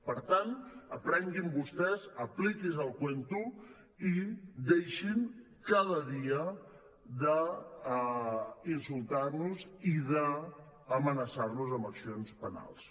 per tant aprenguin vostès apliquin se el cuento i deixin cada dia d’insultar nos i d’amenaçar nos amb accions penals